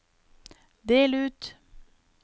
del ut